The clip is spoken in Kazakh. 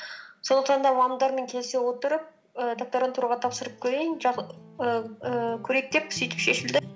сол сонда мамамдармен келісе отырып і докторантураға тапсырып көрейін ііі көрейік деп сөйтіп шешілді